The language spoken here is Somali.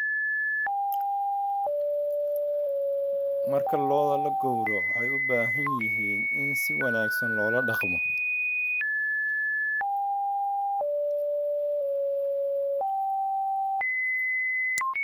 Marka lo'da la gowraco, waxay u baahan yihiin in si wanaagsan loola dhaqmo.